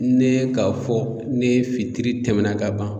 Ne k'a fɔ ni fitiri tɛmɛna ka ban